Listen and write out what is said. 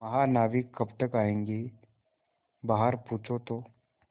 महानाविक कब तक आयेंगे बाहर पूछो तो